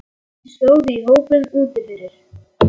Margir stóðu í hópum úti fyrir.